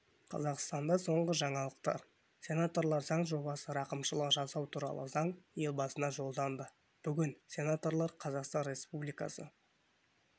қазақстанда соңғы жаңалықтар сенаторлар заң жобасы рақымшылық жасау туралы заң елбасына жолданды бүгін сенаторлар қазақстан республикасы